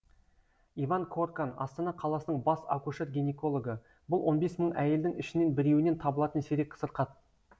иван коркан астана қаласының бас акушер гинекологы бұл он бес мың әйелдің ішінен біреуінен табылатын сирек сырқат